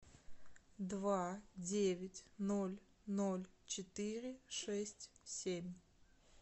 два девять ноль ноль четыре шесть семь